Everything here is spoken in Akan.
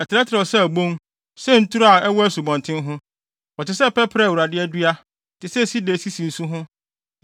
“Ɛtrɛtrɛw sɛ abon, sɛ nturo a ɛwɔ asubɔnten ho. Wɔte sɛ pɛprɛ a Awurade adua, te sɛ sida a esisi nsu ho.